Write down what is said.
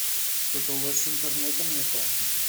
что то у вас с интернетом не то